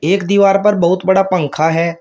एक दीवार पर बहुत बड़ा पंखा है।